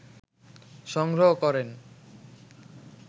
সংগ্রহ করেন